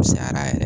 Cayara yɛrɛ